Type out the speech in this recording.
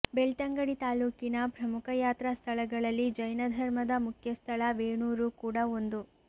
ಬೆಳ್ತಂಗಡಿ ತಾಲೂಕಿನ ಪ್ರಮುಖ ಯಾತ್ರಾ ಸ್ಥಳಗಳಲ್ಲಿ ಜೈನ ಧರ್ಮದ ಮುಖ್ಯ ಸ್ಥಳ ವೇಣೂರು ಕೂಡ ಒಂದು